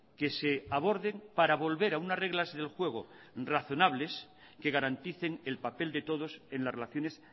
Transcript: que se aborden para volver a unas reglas del juego razonables que garanticen el papel de todos en las relaciones